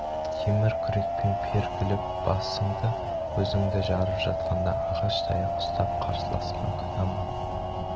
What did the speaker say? темір күрекпен пергілеп басы-көзіңді жарып жатқанда ағаш таяқ ұстап қарсыласқан күнә ма